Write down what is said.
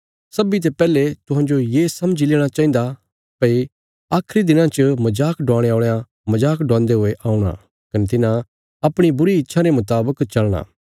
सब्बीं ते पैहले तुहांजो ये समझी लेणा चाहिन्दा भई आखरी दिनां च मजाक डवाणे औल़यां मजाक डवान्दे हुये औणा कने तिन्हां अपणी बुरी इच्छां रे मुतावक चलना